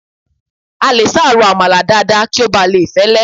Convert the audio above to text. A lè sá ro àmàlà dáadáa kí ó bà lè fẹ́lé